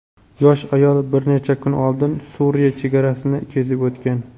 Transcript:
yosh ayol bir necha kun oldin Suriya chegarasini kesib o‘tgan.